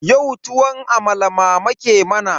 Yau tuwon amala mama ke mana.